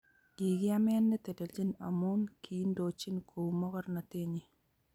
Kikiame netellechin amu kiindochin kou mogornotenyi